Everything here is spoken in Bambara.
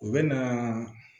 U bɛ na